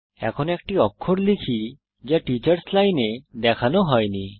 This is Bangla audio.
এখন একটি অক্ষর লিখি যা টিচার্স লাইন এ দেখানো হয়নি